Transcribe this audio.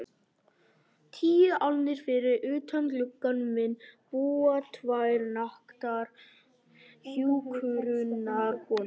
Tíu álnir fyrir utan gluggann minn búa tvær naktar hjúkrunarkonur.